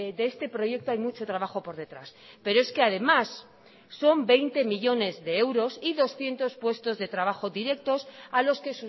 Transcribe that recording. de este proyecto hay mucho trabajo por detrás pero es que además son veinte millónes de euros y doscientos puestos de trabajo directos a los que